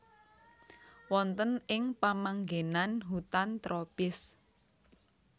Wonten ing pamanggenan hutan tropis